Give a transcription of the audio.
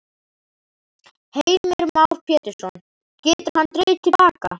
Heimir Már Pétursson: Getur hann dregið til baka?